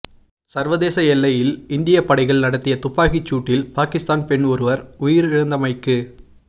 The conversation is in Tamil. சர்வதேச எல்லையில் இந்திய படைகள் நடத்திய துப்பாக்கிச் சூட்டில் பாகிஸ்தான் பெண் ஒருவர் உயிரிழந்தமைக்கு